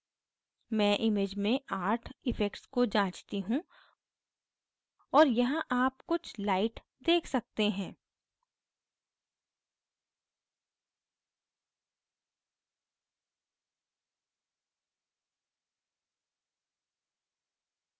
मैं image में art effects को जाँचती हूँ और यहां आप कुछ light check सकते हैं